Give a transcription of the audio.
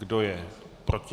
Kdo je proti?